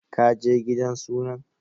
Ka je gidan sunan?